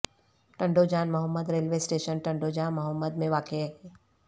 Tando Jan Muhammad railway station Tando Jan Muhammad میں واقع ہے